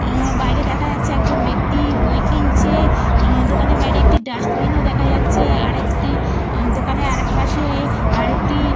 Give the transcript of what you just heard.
আঃ বাইরে দেখা যাচ্ছে একজন ব্যক্তি বই কিনছে। দোকানের বাইরে একটি ডাস্টবিন -ও দেখা যাচ্ছে। আর একটি দোকানের আর এক পাশে আর একটি --